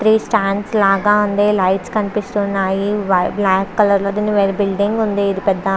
Three stands లాగా ఉంది. Lights కనిపిస్తున్నాయి. బ్లాక్ కలర్ లోది బిల్డింగ్ కనిపిస్తుంది ఇది పెద్ద --